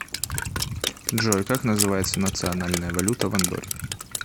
джой как называется национальная валюта в андорре